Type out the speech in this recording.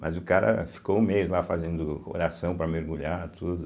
Mas o cara ficou um mês lá fazendo oração para mergulhar, tudo.